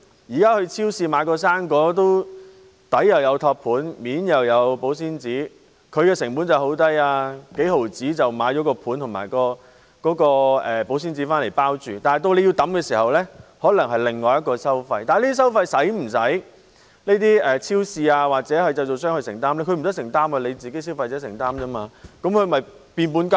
現時到超市買一個生果，底有托盤，面有保鮮紙；他們的成本很低，只須幾毫子便可用托盤和保鮮紙來包裝，但到我們丟棄時，可能又有另一種收費，不過超市或製造商需否承擔這些收費呢？